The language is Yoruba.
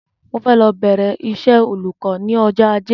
Mo fẹ́ lọ bẹ̀rẹ iṣẹ́ olùkọ́ ní ọjọ́ Ajé